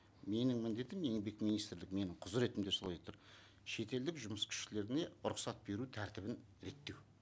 менің міндетім мен еңбек министрлік менің құзыретімде солай тұр шетелдік жұмыс күштеріне рұқсат беру тәртібін реттеу